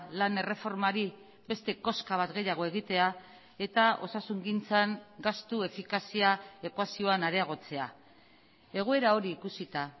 lan erreformari beste koska bat gehiago egitea eta osasungintzan gastu efikazia ekuazioan areagotzea egoera hori ikusita